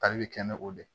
Tali be kɛ ni o de ye